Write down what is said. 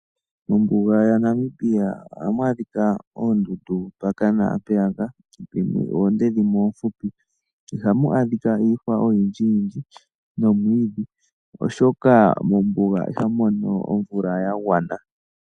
Mombuga yaNamibia ohamu adhika oondundu mpaka naampeyaka, dhimwe oonde nadhimwe oofupi. Ihamu adhika iihwa nomwiidhi ogundji oshoka mombuga ihamu mono omvula ya gwana.